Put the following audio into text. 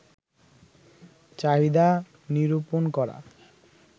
চাহিদা নিরূপণ করা